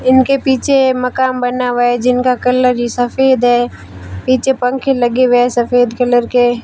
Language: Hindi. इनके पीछे मकान बना हुआ है जिनका कलर ही सफेद है पीछे पंखे लगे हुए हैं सफेद कलर के।